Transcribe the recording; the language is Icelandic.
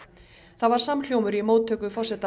það var samhljómur í móttöku forseta